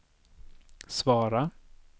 svara